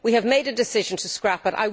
We have made a decision to scrap it.